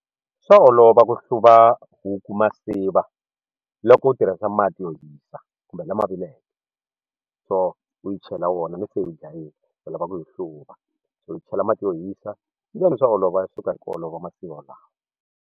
Swa olova ku hluva huku masiva loko u tirhisa mati yo hisa kumbe lama vileke so u yi chela wona loko se u yi dlayile u lava ku yi hluva so u yi chela mati yo hisa swa olova ya suka hi ku olova masiva lawa.